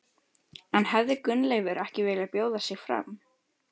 En hefði Gunnleifur ekki viljað bjóða sig fram?